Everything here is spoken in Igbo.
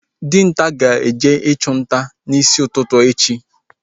Dinta ga-eje ịchụ nta n'isi ụtụtụ echi